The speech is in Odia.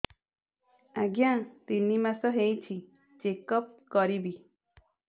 ଆଜ୍ଞା ତିନି ମାସ ହେଇଛି ଚେକ ଅପ କରିବି